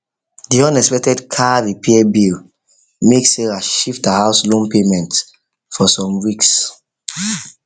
the unexpected car repair bill make sarah shift her house loan payment for some weeks